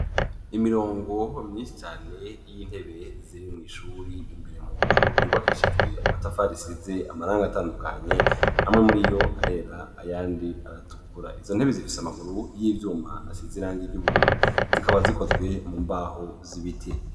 Imirongo myinshi cane y'intebe ziri mw' ishuri imbere mu nzu yubakishijwe amatafari asize amarangi atandukanye. Amwe muriyo arera ayandi aratukura. Izo ntebe zifise amaguru y'ivyuma asize irangi ry'ubururu. Zikaba zikozwe mu mbaho z'ibiti.